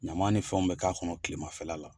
Ɲamanw ni fɛnw be k'a kɔnɔ kilemafɛla la